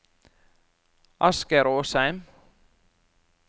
Asgeir Åsheim